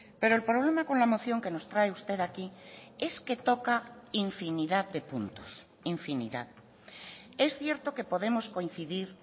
pero el problema con la moción que nos trae usted aquí es que toca infinidad de puntos infinidad es cierto que podemos coincidir